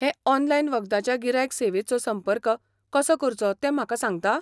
हे, ऑनलायन वखदाच्या गिरायक सेवेचो संपर्क कसो करचो तें म्हाका सांगता?